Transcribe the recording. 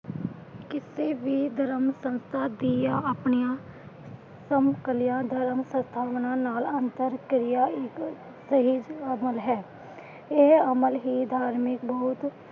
ਕਿਸੇ ਵੀ ਧਰਮ ਸੰਸਥਾ ਦੀਆ ਆਪਣੀਆਂ ।